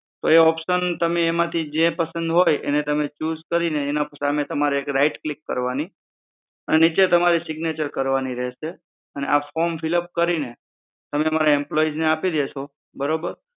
તો એ option તમે એમાંથી જે પસંદ હોય એને તમે choose કરીને એના પર તમારે right click કરવાની અને નીચે તમારી signature કરવાની રહેશે અને આ form fill up કરીને તમે અમારા employee ને આપી દેશો બરોબર